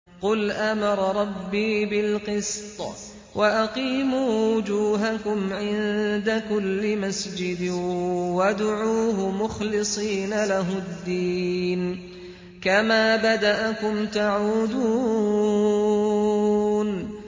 قُلْ أَمَرَ رَبِّي بِالْقِسْطِ ۖ وَأَقِيمُوا وُجُوهَكُمْ عِندَ كُلِّ مَسْجِدٍ وَادْعُوهُ مُخْلِصِينَ لَهُ الدِّينَ ۚ كَمَا بَدَأَكُمْ تَعُودُونَ